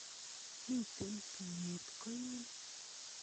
Mite tuyet koin.